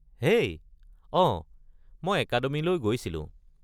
হেই! অঁ, মই একাডেমিলৈ গৈছিলোঁ।